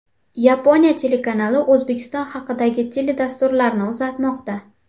Yaponiya telekanali O‘zbekiston haqidagi teledasturlarni uzatmoqda.